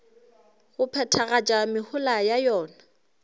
go phethagatša mehola ya yona